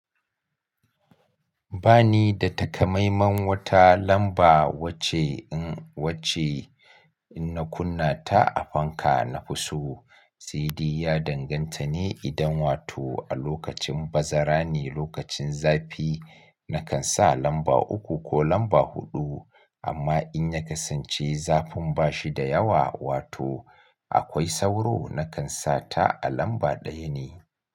Ba ni da takamaiman wata lamba wacce in wacce in na kunna ta a fanka na fi so. Saidai ya danganta ne idan wato a lokacin bazara ne lokacin zafi nakan sa lamba uku ko lamba huɗu amma in ya kasance zafin bashi da yawa wato akwai sauro nakan sa ta a lamba ɗaya ne.